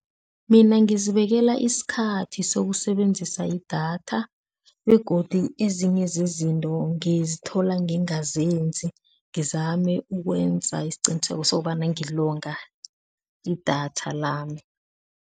Mina ngizibekela isikhathi sokusebenzisa idatha begodu ezinye zezinto ngizithola ngingazenzi ngizame ukwenza isiqiniseko sokobana ngilonga idatha lami.